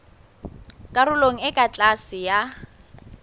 karolong e ka tlase ya